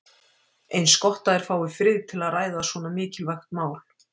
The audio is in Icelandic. Eins gott að þeir fái frið til að ræða svo mikilvægt mál.